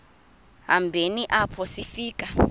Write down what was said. hambeni apho sifika